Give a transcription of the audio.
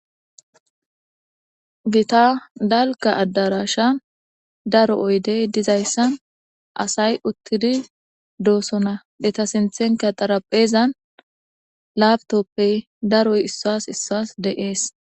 Gita dalka addarasha daro oydey dizayssan asay uttidi doosona deta sinthenka xarapheezan laabtoppey daroy issas issas deees.